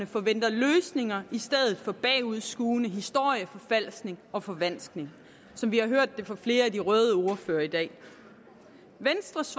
forventer løsninger i stedet for bagudskuende historieforfalskning og forvanskning som vi har hørt det fra flere af de røde ordførere i dag venstres